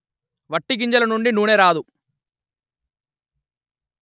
వట్టి గింజలనుండి నూనె రాదు